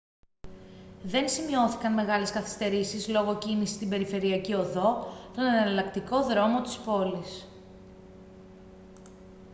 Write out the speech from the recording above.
δεν σημειώθηκαν μεγάλες καθυστερήσεις λόγω κίνησης στην περιφερειακή οδό τον εναλλακτικό δρόμο της πόλης